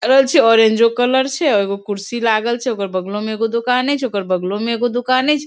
छै ओरेंजो कलर छै एगो कुर्सी लागल छै ओकर बगलो मे एगो दुकाने छै ओकर बगलो मे एगो दुकानो छै |